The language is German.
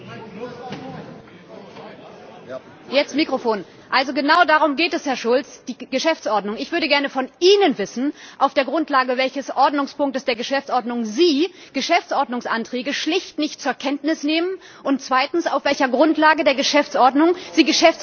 Herr Präsident! Genau darum geht es, Herr Schulz, die Geschäftsordnung. Ich würde gerne von Ihnen wissen, auf der Grundlage welches Artikels der Geschäftsordnung Sie Geschäftsordnungsanträge schlicht nicht zur Kenntnis nehmen und zweitens auf welcher Grundlage der Geschäftsordnung Sie Geschäftsordnungsanträge gar nicht beantworten?